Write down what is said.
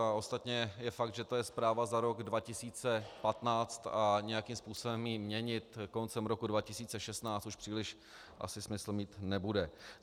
A ostatně je fakt, že to je zpráva za rok 2015 a nějakým způsobem ji měnit koncem roku 2016 už příliš asi smysl mít nebude.